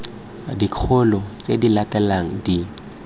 dikgolo tse di latelang di